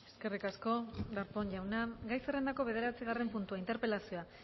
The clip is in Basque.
eskerrik asko darpón jauna gai zerrendako bederatzigarren puntua interpelazioa